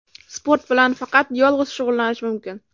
Sport bilan faqat yolg‘iz shug‘ullanish mumkin.